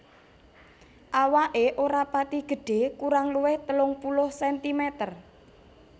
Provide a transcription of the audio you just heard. Awaké ora pati gedhé kurang luwih telung puluh sentimeter